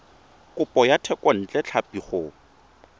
kopo ya thekontle tlhapi go